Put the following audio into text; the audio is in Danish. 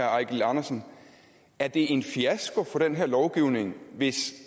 herre eigil andersen er det en fiasko for den her lovgivning hvis